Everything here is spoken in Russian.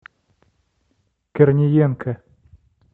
корниенко